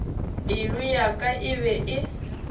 pelo ya ka e be